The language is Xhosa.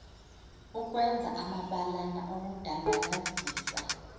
ukwenza amabalana okudandalazisa